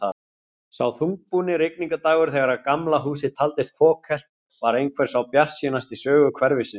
Sá þungbúni rigningardagur þegar Gamla húsið taldist fokhelt, var einhver sá bjartasti í sögu hverfisins.